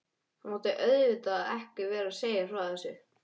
Ég mátti auðvitað ekki vera að segja frá þessu.